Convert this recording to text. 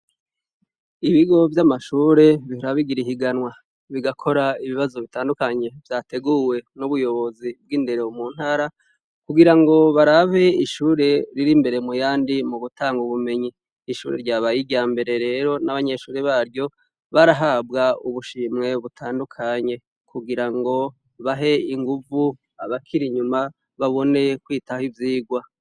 Ibigo vy'amashure bihora bigira ihiganwa bigakora ibibazo bitandukanye vyateguwe n'ubuyobozi bw'indero mu ntara kugira ngo barabe ishure riri imbere mu yandi mu gutanga ubumenyi. Ishure ryabaye irya mbere rero n'abanyeshure baryo barahabwa ubushimwe butandukanye kugira ngo bahe inguvu abakiri inyuma babone kwitaho ivyigwa.